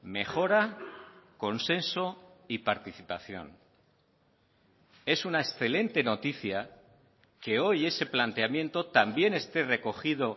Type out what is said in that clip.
mejora consenso y participación es una excelente noticia que hoy ese planteamiento también esté recogido